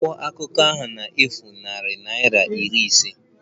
Akwụkwọ akụkọ ahụ na-efu nanị naịra iri ise